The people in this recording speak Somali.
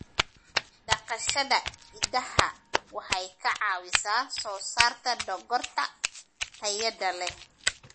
Dhaqashada idaha waxay ka caawisaa soo saarista dhogorta tayada leh.